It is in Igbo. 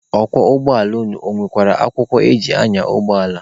Ọkwọ ụgbọala unu, ọ nwekwala akwụkwọ eji anya ụgbọala?